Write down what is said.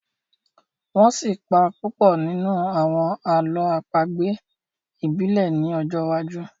wón sí pá Pupo nínú àwọn àlọ́ àpagbè ibile ni ojó wájú.